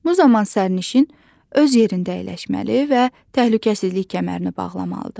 Bu zaman sərnişin öz yerində əyləşməli və təhlükəsizlik kəmərini bağlamalıdır.